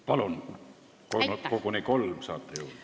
Palun, saate koguni kolm minutit juurde!